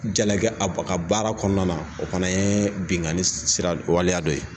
Jalaki a ka baara kɔnɔna na o fana ye binnkanni sira waleya dɔ ye